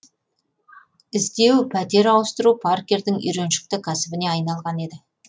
іздеу пәтер ауыстыру паркердің үйреншікті кәсібіне айналған еді